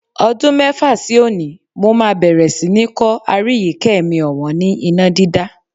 Ọdún mẹ́fà sí òní, mó máa bẹ̀rẹ̀ sí ni kọ́ Aríyìíkẹ́ mi ọ̀wọ́n ni iná dídá.